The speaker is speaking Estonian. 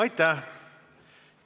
Aitäh!